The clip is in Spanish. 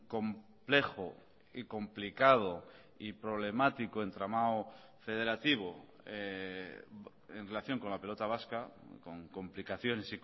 complejo y complicado y problemático entramado federativo en relación con la pelota vasca con complicaciones